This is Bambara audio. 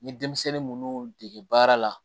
N ye denmisɛnnin munnu dege baara la